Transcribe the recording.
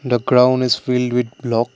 the crown is filled with block.